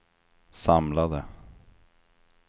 samlade